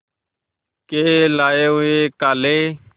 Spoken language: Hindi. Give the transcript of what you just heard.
के लाए हुए काले